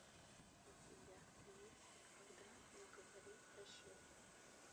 у тебя есть никогда не говори прощай